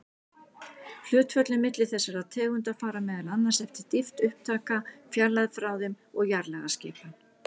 Hlutföllin milli þessara tegunda fara meðal annars eftir dýpt upptaka, fjarlægð frá þeim og jarðlagaskipan.